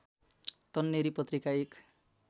तन्नेरी पत्रिका एक